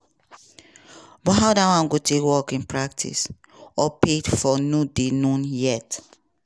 but how dat go work in practice or paid for no dey known yet.